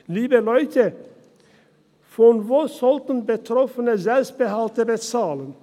Liebe Leute, von wo sollten Betroffene Selbstbehalte bezahlen?